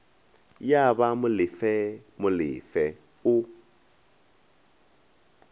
ya ba molefe molefe o